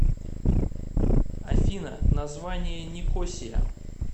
афина название никосия